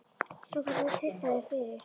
Svo þú verður að treysta þeim fyrir. þér.